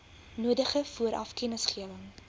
nodige vooraf kennisgewing